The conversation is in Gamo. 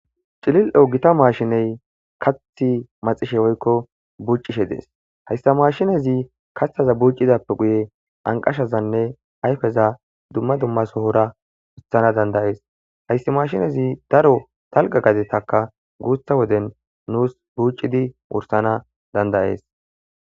cilil7o gita maashiney kathi maxishe woykko buccishe dees hayssa mashinezi katthaza buuccidappe guye anqashazanne ayfeza dumma dumma sohora wutsana dandayees hayssi mashinezi daro talqa gadetaka guutha woden nuus buucidi wursana dandayees